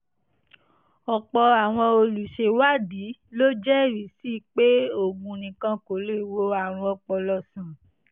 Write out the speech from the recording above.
ọ̀pọ̀ àwọn olùṣèwádìí ló jẹ́rìí sí i pé oògùn nìkan kò lè wo àrùn ọpọlọ sàn